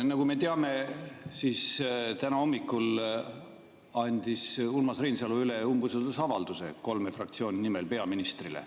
Nagu me teame, täna hommikul andis Urmas Reinsalu kolme fraktsiooni nimel üle umbusaldusavalduse peaministrile.